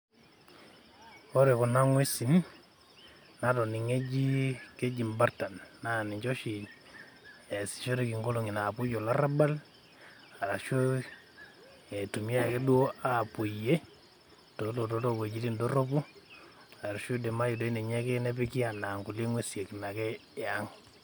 Ore kuna ng'uesi natoning'o eji, keji imbartan naa ninche oshi easishoreki nkolong'i naapuo olarrabal arashu eitumia ake duo aapuoyie toolotot oowuejitin dorropu, arashu eidimayu doi ninye ake nepiki anaa nkulie ng'uesi naake eang'.